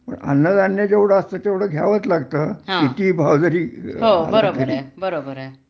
पण अन्नधान्य जेवढ असत तेवढ घ्यावंच लागत कितीही भाव जरी वाढले तरी